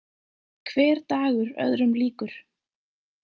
Hver dagur öðrum líkur.